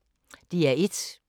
DR1